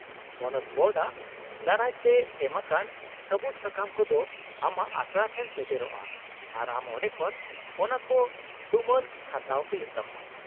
-ᱯᱚᱱᱚᱛ ᱵᱳᱨᱰ ᱟᱜ ᱫᱟᱨᱟᱭ ᱛᱮ ᱮᱢᱟᱠᱟᱱ ᱥᱟᱹᱵᱩᱫᱥᱟᱠᱟᱢ ᱠᱚᱫᱚ ᱟᱢᱟᱜ ᱟᱥᱲᱟ ᱴᱷᱮᱱ ᱥᱮᱴᱮᱨᱚᱜᱼᱟ ᱟᱨ ᱟᱢ ᱚᱸᱰᱮ ᱠᱷᱚᱱ ᱚᱱᱟᱠᱚ ᱛᱩᱢᱟᱹᱱ ᱦᱟᱛᱟᱣ ᱦᱩᱭᱩᱜ ᱛᱟᱢᱟ ᱾